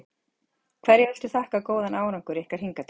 Hverju viltu þakka góðan árangur ykkar hingað til?